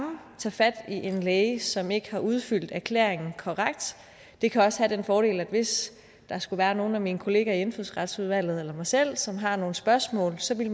tage fat i en læge som ikke har udfyldt erklæringen korrekt det kan også have den fordel at hvis der skulle være nogle af mine kollegaer i indfødsretsudvalget eller mig selv som har nogle spørgsmål så ville